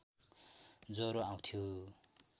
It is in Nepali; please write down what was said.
ज्वरो आउँथ्यो